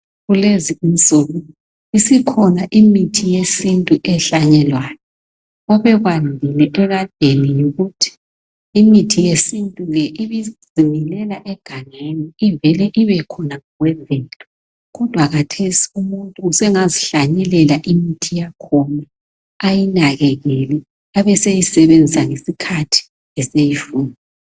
Kulezinsuku isikhona imithi yesintu ehlanyelwayo. Obekwandile ekadeni yikuthi imithi yesintu le ibizimilela egangeni ivele ibekhona ngokwemvelo. Kodwa khathesi umuntu usengazihlanyelela imithi yakhona, ayinakekele abeseyibenzisa ngesikhathi eseyifuna.